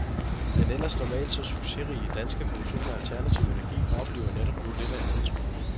Den ellers normalt så succesrige danske produktion af alternativ energi oplever netop nu lidt af en nedtur.